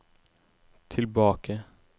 tilbake